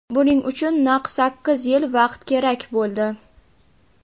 Buning uchun naq sakkiz yil vaqt kerak bo‘ldi.